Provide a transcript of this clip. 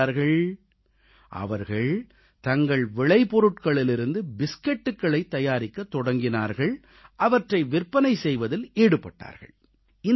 என்ன செய்தார்கள் அவர்கள் தங்கள் விளைபொருட்களிலிருந்து பிஸ்கட்களைத் தயாரிக்கத் தொடங்கினார்கள் அவற்றை விற்பனை செய்வதில் ஈடுபட்டார்கள்